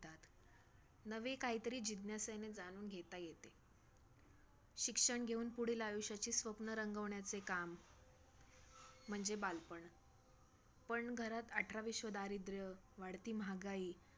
नवे काहीतरी जिज्ञासेने जाणून घेता येते. शिक्षण घेऊन पुढील आयुष्याची स्वप्न रंगवण्याचे काम म्हणजे बालपण, पण घरात अठराविश्वे दारिद्र्य, वाढती महागाई